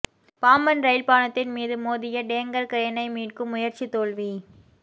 Pamban rail பாலத்தின் மீது மோதிய டேங்கா் கிரேனை மீட்கும் முயற்சி தோல்வி